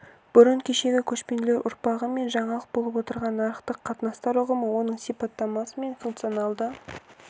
бұрын кешегі көшпенділер ұрпағы үшін жаңалық болып отырған нарықтық қатынастар ұғымы оның сипаттамасы мен функционалды